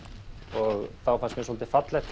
og þá fannst mér svolítið fallegt